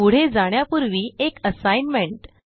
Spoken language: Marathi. पुढे जाण्यापूर्वी एक असाइनमेंट